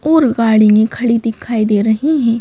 और गाड़ी में खड़ी दिखाई दे रही हैं।